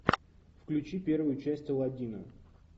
включи первую часть аладдина